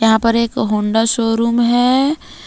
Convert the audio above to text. यहां पर एक होंडा शोरूम है।